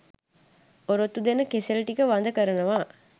ඔරොත්තු දෙන කෙසෙල් ටික වඳ කරනවා